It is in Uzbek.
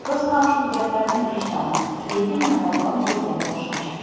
Biz ham shu gaplarni eshitamiz, lekin namoyon bo‘lgani boshqacha.